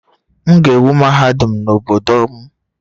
M ga-ewu mahadum n'obodo m